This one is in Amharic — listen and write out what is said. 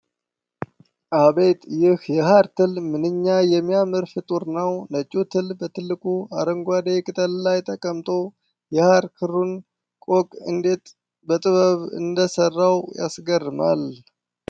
አቤት! ይህ የሐር ትል ምንኛ የሚያምር ፍጡር ነው! ነጩ ትል በትልቁ አረንጓዴ ቅጠል ላይ ተቀምጦ፣ የሐር ክሩን ቆቅ እንዴት በጥበብ እንደሰራው ያስገርሟል!